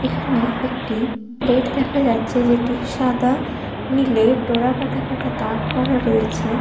এখানে একটি প্লেট দেখা যাচ্ছে যেটি সাদা নীলে ডোরা কাটা কাটা দাগ করা রয়েছে।